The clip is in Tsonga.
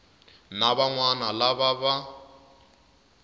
na van wana lava va